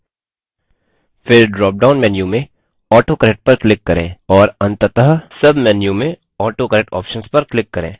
फिर drop down menu में autocorrect पर click करें और अंततः sub menu में autocorrect options पर click करें